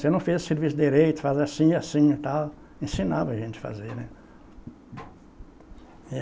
Você não fez o serviço direito, faz assim, assim e tal, ensinava a gente a fazer, né? É